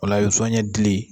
O la i bɛ zɔnɲɛ dili